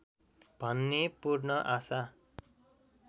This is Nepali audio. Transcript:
भन्ने पूर्ण आशा